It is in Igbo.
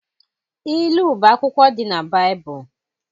Ilu bụ akwụkwọ dị na Baịbụl